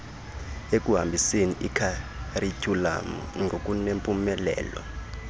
ekuhambiseni ikharityhulamu ngokunempumelelo